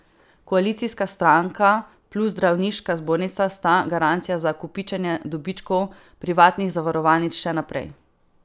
Koalicijska stranka plus Zdravniška zbornica sta garancija za kopičenje dobičkov privatnih zavarovalnic še naprej.